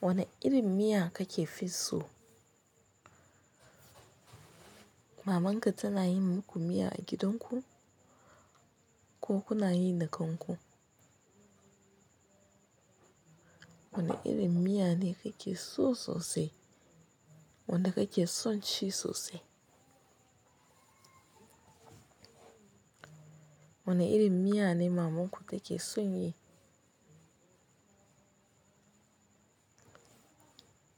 Wane irin miya kake fi so? Maman ka tana yin muku miya a gidan ku? Ko kuna yi da kan ku? Wane irin miya ne kake so sosai? Wanda kake son ci sosai? Wane irin miya ne maman ku take son yi?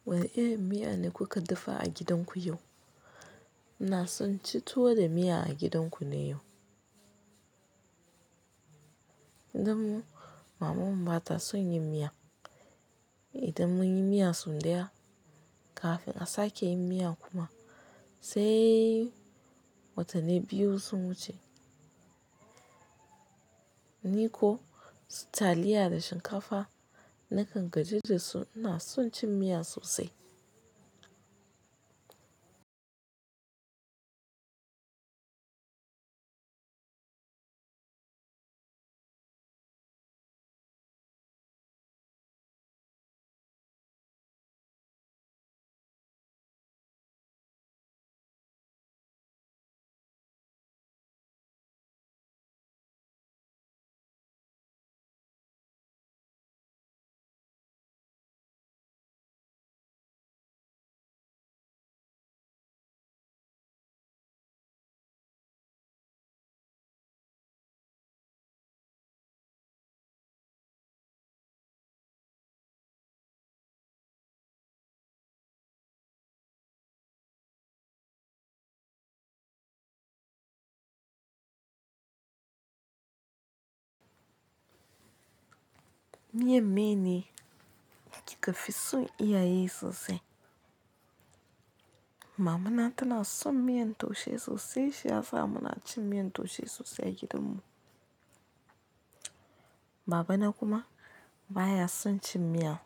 Wane irin miya ne kuka dafa a gidan ku yau? Ina son ci tuwo da miya a gidan ku ne yau. Gidanmu mamanmu ba ta son yin miya. Idan mun yi miya sun daya. Kafin a sake yin miya kuma, sai watanni biyu sun wuce. Ni ko taliya da shinkafa nakan gaji da su. Ina son cin miya sosai. Miyar meye ne kika fi son iya yi sosai? Mama na tana son miyan taushe sosai shiyasa munacin miyan taushe sosai a gidan mu. Babana kuma baya son cin miya.